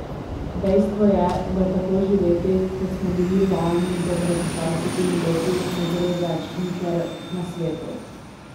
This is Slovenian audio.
Dejstvo je, da tako živeti, kot smo bili vajeni do pred dvajsetimi leti, ne gre več nikjer na svetu.